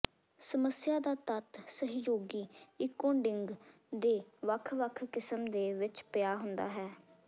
ਸਮੱਸਿਆ ਦਾ ਤੱਤ ਸਹਿਯੋਗੀ ਇੰਕੋਡਿੰਗ ਦੇ ਵੱਖ ਵੱਖ ਕਿਸਮ ਦੇ ਵਿੱਚ ਪਿਆ ਹੁੰਦਾ ਹੈ